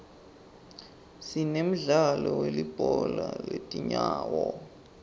sinemdlalo welibhola letinyawo